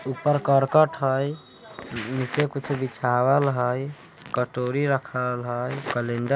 -- ऊपर कर्कट हई नीचे कुछ बिछावल हई कटोरी रखल हैकैलेंडर--